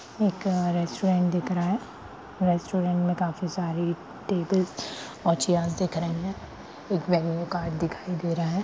एक रेस्टोरेंट दिख रहा है रेस्टोरेंट मे काफी सारी टेबल्स और चेयर्स दिख रही हैं एक मेनू कार्ड दिखाई दे रहा है।